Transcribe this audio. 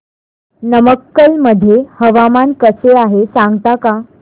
नमक्कल मध्ये हवामान कसे आहे सांगता का